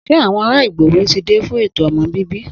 Se àwọn ará ìgbòho ti dé fún ètò ọmọ bíbí